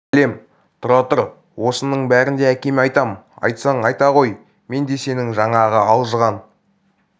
бәлем тұра тұр осыныңның бәрін де әкеме айтам айтсаң айта ғой мен де сенің жаңағы алжыған